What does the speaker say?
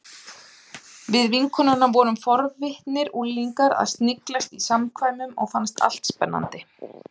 Við vinkonurnar vorum forvitnir unglingar að sniglast í samkvæmunum og fannst allt spennandi.